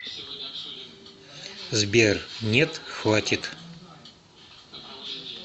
сбер нет хватит